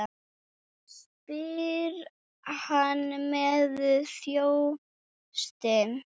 spyr hann með þjósti.